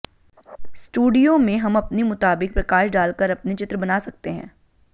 स्टुडियों में हम अपनी मुताबिक प्रकाश डाल कर अपने चित्र बना सकते हैं